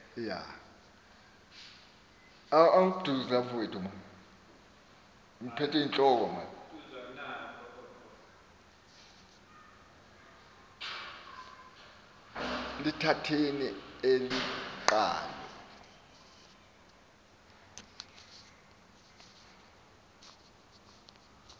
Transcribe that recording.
lithatheni eli qhalo